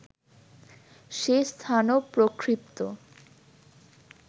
সে স্থানও প্রক্ষিপ্ত